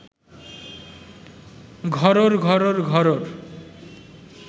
ঘরোর ঘরোর ঘরোর